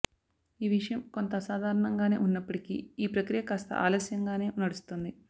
ఈ విషయం కొంత అసాధారణంగానే ఉన్నప్పటికీ ఈ ప్రక్రియ కాస్త ఆలస్యంగానే నడుస్తోంది